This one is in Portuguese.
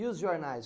E os jornais?